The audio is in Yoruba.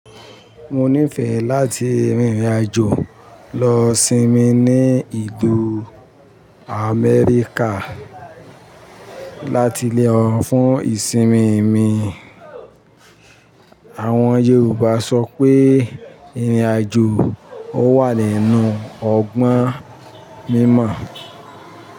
Mo nífẹ̀ẹ́ láti rìnrìn àjò lọ sinmi ní ìlú Amẹ́ríkà láti lo fún ìsinmi mi. Àwọn Yorùbá sọ pé "ìrìn àjò ò wà nínú ọgbọ́n mímọ̀".